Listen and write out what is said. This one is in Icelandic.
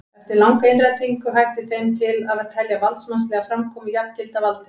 Eftir langa innrætingu hætti þeim til að telja valdsmannslega framkomu jafngilda valdi.